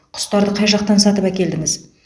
құстарды қай жақтан сатып әкелдіңіз